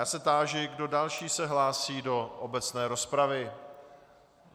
Já se táži, kdo další se hlásí do obecné rozpravy.